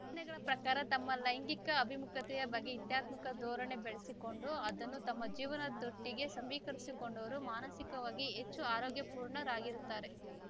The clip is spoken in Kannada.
ಅಧ್ಯಯನಗಳ ಪ್ರಕಾರ ತಮ್ಮ ಲೈಂಗಿಕ ಅಭಿಮುಖತೆಯ ಬಗ್ಗೆ ಇತ್ಯಾತ್ಮಕ ಧೋರಣೆ ಬೆಳೆಸಿಕೊಂಡು ಅದನ್ನು ತಮ್ಮ ಜೀವನದೊಟ್ಟಿಗೆ ಸಮೀಕರಿಸಿಕೊಂಡವರು ಮಾನಸಿಕವಾಗಿ ಹೆಚ್ಚು ಆರೋಗ್ಯಪೂರ್ಣರಾಗಿರುತ್ತಾರೆ